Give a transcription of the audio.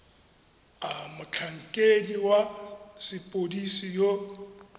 a motlhankedi wa sepodisi yo